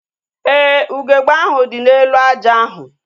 Éè, ugegbe ahu dị n'elu aja ahu